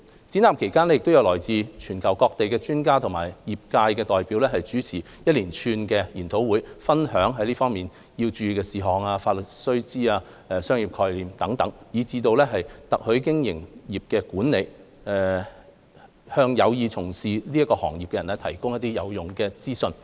展覽期間，來自全球各地的專家及業界代表主持一連串研討會，分享在這方面需要注意的事項、法律須知、商業概念，以至特許經營業務管理，向有意從事特許經營的人士提供有用的資訊。